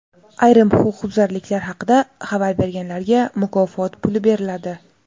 Ayrim huquqbuzarliklar haqida xabar berganlarga mukofot puli beriladi.